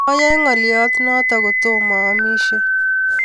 Mayae naglyo notok kotomo aamis